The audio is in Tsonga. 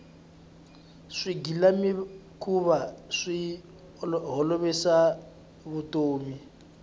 swigilamikhuva swi olovisa vutomi